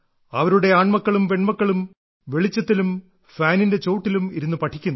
അവരുടെ ആൺമക്കളും പെൺമക്കളും വെളിച്ചത്തിലും ഫാനിന്റെ ചോട്ടിലും ഇരുന്നു പഠിക്കുന്നു